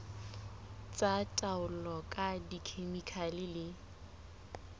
tsa taolo ka dikhemikhale le